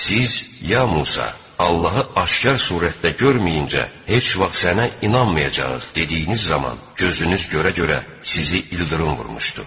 Siz: "Ya Musa, Allahı aşkar surətdə görməyincə heç vaxt sənə inanmayacağıq" dediyiniz zaman gözünüz görə-görə sizi ildırım vurmuşdu.